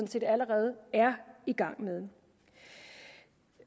set allerede er i gang med